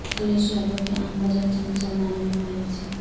اکھلیش یادو کے عام بجٹ سے مسلمانوں میں مایوسی